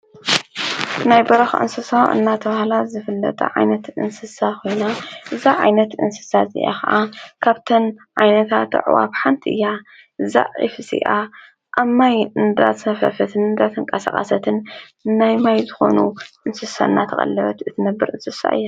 ናይ በረኻ እንስሳ እናተብሃላ ዝፍለጣ ዓይነት እንስሳ ኾይና እዛ ዓይነት እንስሳ እዚኣ ኸዓ ካብተን ዓይነታ ኣዕዋፍ ሓንቲ እያ ዛ ዒፍ እዚኣ ኣብ ማይ እምዳት ሰፈፈትን እንዳትንቃሰቓሰትን ናይ ማይ ዝኾኑ እንስሰ ናተቐለበት እትነብር እንስሣ እያ።